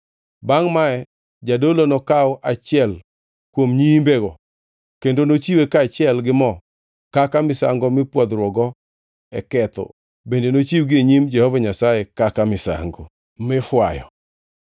“Bangʼ mae Jadolo nokaw achiel kuom nyiimbego kendo nochiwe kaachiel gi mo kaka misango mipwodhruokgo e ketho bende nochiwgi e nyim Jehova Nyasaye kaka misango mifwayo.